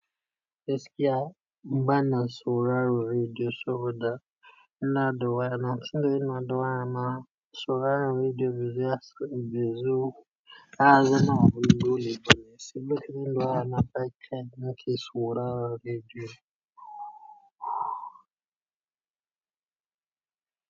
Yanzu da gaskiya, bana sauraron rediyo saboda ina addu'a. Na tsinka ina addu'a mana sauraron rediyo bizu, bizu. Haza ina wurare dole da ni. Sai lokacin da ina kai, kai nake sauraron rediyo.